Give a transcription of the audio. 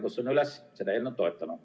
Kutsun üles seda eelnõu toetama.